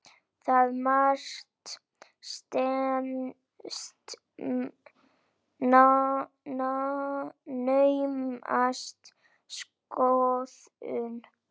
Það mat stenst naumast skoðun.